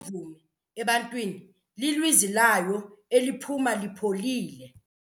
mvumi ebantwini lilizwi layo eliphuma lipholile.